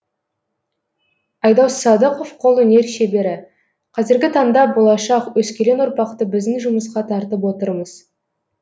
айдос садықов қолөнер шебері қазіргі таңда болашақ өскелең ұрпақты біздің жұмысқа тартып отырмыз